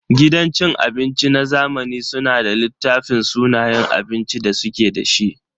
Gidan cin abinci na zamani suna da littafin sunayen abincin da suke da shi.